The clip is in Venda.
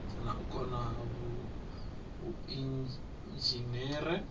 na u kona ha vhuinzhinere